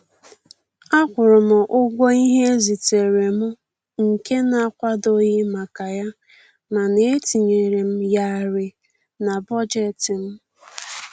Akwụrụ m ụgwọ ihe e ziteere m nke na-akwadoghị maka ya, mana e tinyere m yarị na bọjetị m